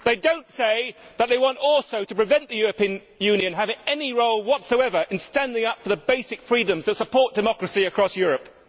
They do not say that they also want to prevent the European Union having any role whatsoever in standing up for the basic freedoms that support democracy across Europe.